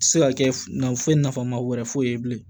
Se ka kɛ nafolo nafama wɛrɛ foyi ye bilen